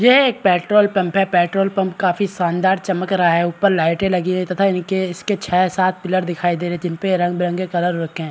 ये एक petrol pump है पेट्रोल पंप काफी शानदार चमक रहा है ऊपर लाइटे लगी है तथा इनके इसके छः-सात पिलर दिखाई दे रहे हैं जिनपे रंग-बिरंगे कलर हो रखे है।